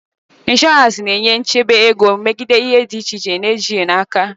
Inshọràns na-enye nchebe ego megide ihe egwu dị iche iche na ejighị n'aka.